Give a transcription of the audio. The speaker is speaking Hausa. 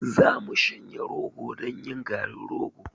Za mu shanya rogo don yin garin rogo.